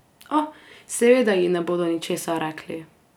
Oh, seveda ji ne bodo ničesar rekli.